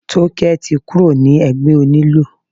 Tókẹ́ ti kúrò ní ẹgbẹ́ onílù.